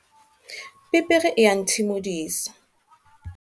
Pepere ea nthimodisa.